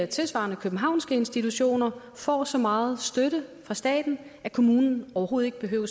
tilsvarende københavnske institutioner får så meget støtte fra staten at kommunen overhovedet ikke behøver